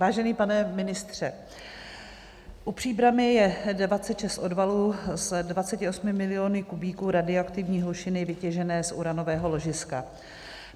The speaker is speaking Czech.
Vážený pane ministře, u Příbrami je 26 odvalů s 28 miliony kubíků radioaktivní hlušiny vytěžené z uranového ložiska.